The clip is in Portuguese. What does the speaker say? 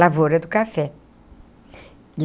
Lavoura do café.